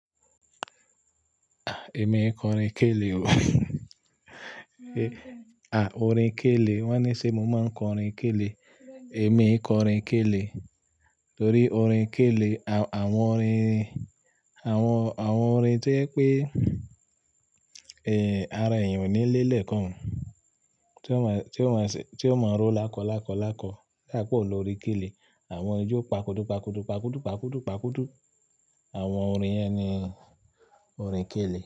Èmi e kọ orin kélé o. À, orin kélé wọ́n ní ṣe mo máa ń kọ orin kélé. Èmi e kọ orin kélé torí orin kélé àwọn orin, àwọn, àwọn orin tí yẹ pé, eh, ara èèyàn ò ní léèlée kon un, tí ó máa, tí ó máa ṣe, tí ó máa ń ró lákọ lákọ lákọ odáìpẹ́ òun lọorin kélé. Àwọn ijó pàkúdù pàkúdù pàkúdù pàkúdù pàkúdù. Àwọn orin yẹn ni orin kélé.